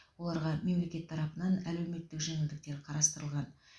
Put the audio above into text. оларға мемлекет тарапынан әлеуметтік жеңілдіктер қарастырылған